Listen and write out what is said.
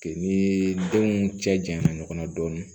Ni denw cɛ janyana ɲɔgɔn na dɔɔnin